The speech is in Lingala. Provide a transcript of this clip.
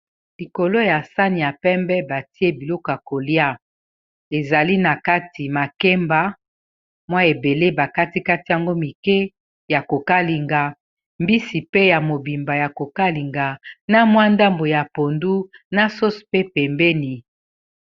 Likolo ya sani ya pembe batie biloko ya kolia ezali na kati makemba mwa ebele ba katikati yango mike ya kokalinga mbisi pe ya mobimba ya kokalinga na mwa ndambo ya pondu na sose pe pembeni.